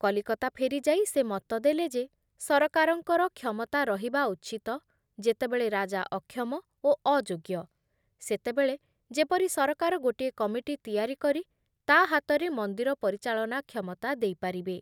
କଲିକତା ଫେରିଯାଇ ସେ ମତ ଦେଲେ ଯେ ସରକାରଙ୍କର କ୍ଷମତା ରହିବା ଉଚିତ ଯେତେବେଳେ ରାଜା ଅକ୍ଷମ ଓ ଅଯୋଗ୍ୟ, ସେତେବେଳେ ଯେପରି ସରକାର ଗୋଟିଏ କମିଟି ତିଆରି କରି ତା ହାତରେ ମନ୍ଦିର ପରିଚାଳନା କ୍ଷମତା ଦେଇପାରିବେ ।